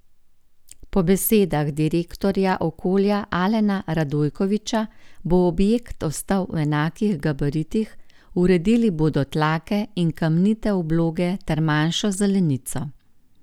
Po besedah direktorja Okolja Alena Radojkoviča bo objekt ostal v enakih gabaritih, uredili bodo tlake in kamnite obloge ter manjšo zelenico.